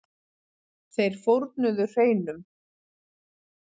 Þeir fórnuðu hreinum.